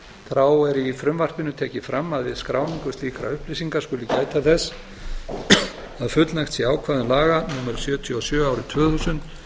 þá er í frumvarpinu tekið fram að við skráningu slíkra upplýsinga skuli gæta þess að fullnægt sé ákvæðum laga númer sjötíu og sjö tvö þúsund